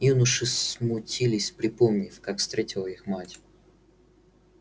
юноши смутились припомнив как встретила их мать